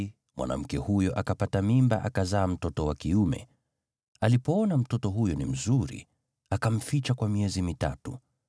naye mwanamke huyo akapata mimba, akazaa mtoto wa kiume. Alipoona mtoto huyo ni mzuri, akamficha kwa miezi mitatu.